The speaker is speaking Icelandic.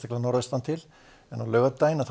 en á laugardaginn gæti létt viða til